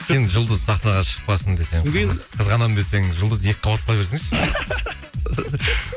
сен жұлдыз сахнаға шықпасын десең қызғанамын десең жұлдызды екі қабат қыла берсеңші